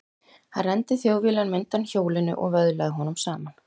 Hann renndi Þjóðviljanum undan hjólinu og vöðlaði honum saman.